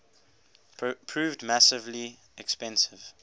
proved massively expensive